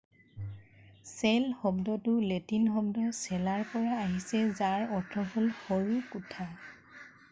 cell শব্দটো Latin শব্দ cellaৰ পৰা আহিছে যাৰ অৰ্থ হল সৰু কোঠা।